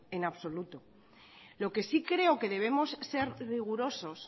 en absoluto lo que sí creo que debemos ser rigurosos